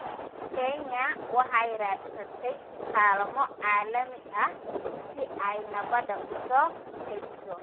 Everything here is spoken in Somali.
Kenya waxay raadsatay kaalmo caalami ah si ay nabadda u soo celiso.